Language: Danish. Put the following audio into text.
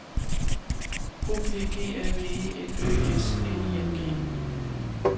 O P G A V E L Ø S N I N G